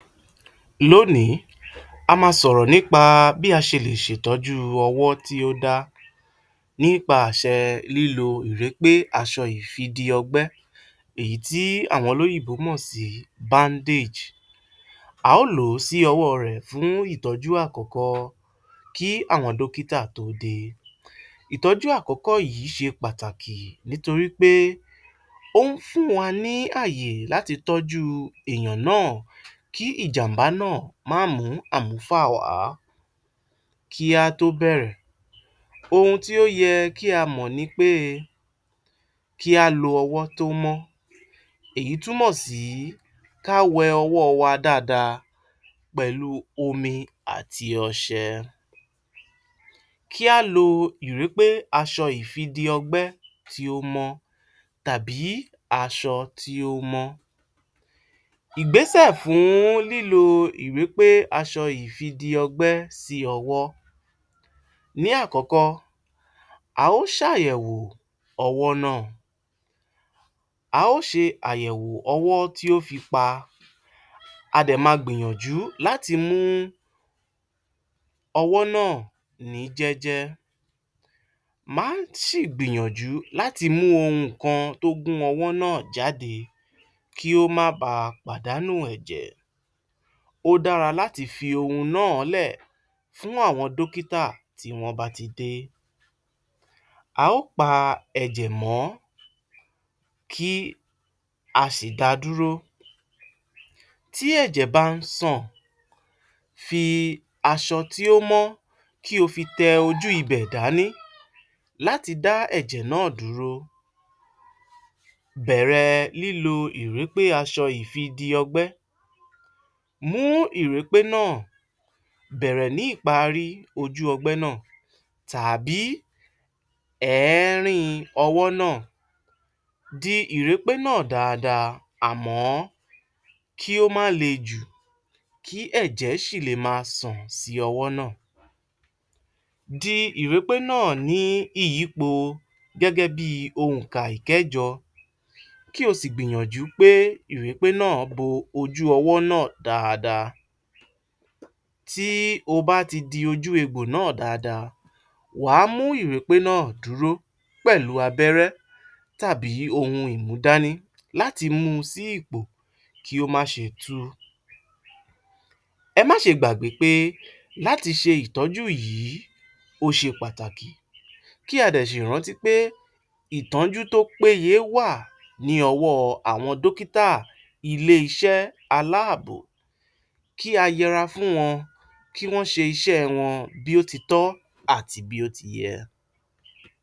Lónìí a máa sọ̀rọ̀ nípa bí a ṣe lè ṣe ìtọ́jú ọwọ́ tí ó dá nípa àṣẹ lílo aṣọ ìrépé aṣọ ìfidi ọgbẹ́ èyí tí àwọn olóyìnbó mọ̀ sí bandage a óò lò ó sí ọwọ́ rẹ̀ èyí fún ìtọ́jú àkọ́kọ́ kí àwọn dókítà tó dé, ìtọ́jú àkọ́kọ́ yìí ṣe pàtàkì nítorí pé ó ń fún wa ní ààyè láti tọ́jú èèyàn náà kí ìjàm̀bá máa mù mú àmúfà wá, kí á tó bẹ̀rẹ̀ ohun tí ó yẹ kí a mọ̀ ni pé kí á lo ọwọ́ tó mọ́, èyí túmọ̀ sí ká wẹ ọwọ́ wa dáadáa pẹ̀lú omi àti ọṣẹ, kí á lo ìrépé aṣọ ìfidi ọgbẹ́ tí ó mọ̀ tàbí aṣọ tí ó mọ́. Ìgbésẹ̀ fún lílo ìrépé aṣọ ìfidi ọgbẹ́ sí ọwọ́. Ní àkọ́kọ́, a ó ṣàyẹ̀wò ọwọ́ náà a á óò ṣe àyẹ̀wò ọwọ́ tí ó fi pa a dẹ̀ ma gbìyànjú láti mú ọwọ́ náà ní jẹ́jẹ́, má ṣì gbìyànjú láti mú ohun kan tó gún ọwọ́ náà jáde kó máa ba pàdánù ẹ̀jẹ̀, ó dára láti fi ohun náà lẹ́ ẹ̀ fún àwọn dókítà tí wọ́n bá ti dé, a óò pa ẹ̀jẹ̀ mọ́ kí a sì dá a dúró, tí ẹ̀jẹ̀ bá ń sàn fi aṣọ tí ó mọ́ kí o fi tẹ ojú ibẹ̀ dání láti dá ẹ̀jẹ̀ náà dúró, bẹ̀rẹ̀ lílo ìrépé aṣọ ìfidi ọgbẹ́, mú ìrépé náà bẹ̀rẹ̀ ní ìparí ojú ọgbẹ́ náà tàbí àárín ojú ọgbẹ́ náà di ìrépé náà dáadáa àmọ́ kí ó má le jù kí ẹ̀jẹ̀ sì lè máa sàn sí ọwọ́ náà, di ìrépé náà ní ìyípo gẹ́gẹ́ bí i oǹkà ìkẹ́jọ kí o sì gbìyànjú pé ìrépé náà bo ojú ọwọ́ náà dáadáa, tí o bá ti di ojú egbò náà dáadáa wà á mú ìrépé náà dúró pẹ̀lú abẹ́rẹ́ tàbí ohun ìmúdání láti mú u sí ipò kí ó má ṣe tú um ẹ máa ṣe gbàgbé pé láti ṣe ìtọ́jú yìí ó ṣe pàtàkì kí a dẹ̀ sì rántí pé ìtọ́jú tó péye wá à ní ọwọ́ àwọn dókítà ilé - iṣẹ́ aláàbò kí a yẹra fún wọn bí ó ti tọ́ àti bí ó ti yẹ.